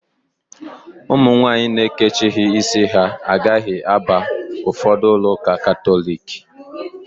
Ụmụ nwaanyị na-ekechighi ísí ha agaghị aba ụfọdụ ulọ ụka Katọliki.